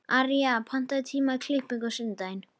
Arja, pantaðu tíma í klippingu á sunnudaginn.